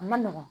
A ma nɔgɔn